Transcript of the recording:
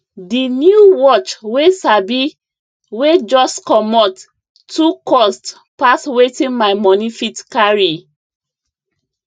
the new watch wey sabi wey just commot too cost pass wetin my money fit carry